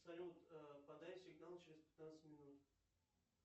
салют подай сигнал через пятнадцать минут